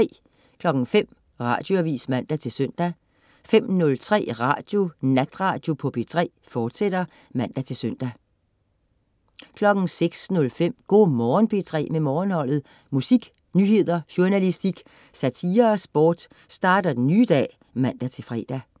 05.00 Radioavis (man-søn) 05.03 Natradio på P3, fortsat (man-søn) 06.05 Go' Morgen P3 med Morgenholdet. Musik, nyheder, journalistik, satire og sport starter den nye dag (man-fre)